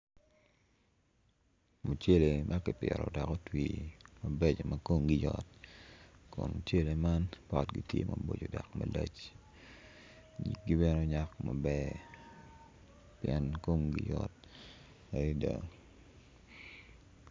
Mucele ma kipito ma kipito ma komgi yot dok potgi tye malac nyig bene onyak maber adada.